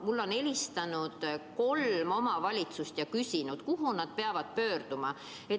Mulle on helistanud kolm omavalitsust ja küsinud, kuhu nad peavad pöörduma.